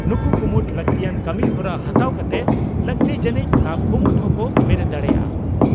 ᱱᱩᱠᱩ ᱠᱩᱢᱩᱴ ᱞᱟᱹᱠᱛᱤᱭᱟᱱ ᱠᱟᱹᱢᱤᱦᱚᱨᱟ ᱦᱟᱛᱟᱣ ᱠᱟᱛᱮ ᱞᱟᱹᱠᱛᱤ ᱡᱟᱹᱱᱤᱡ ᱥᱟᱵ ᱠᱩᱢᱩᱴ ᱦᱚᱸᱠᱚ ᱵᱮᱨᱮᱫ ᱫᱟᱲᱮᱭᱟᱜᱼᱟ ᱾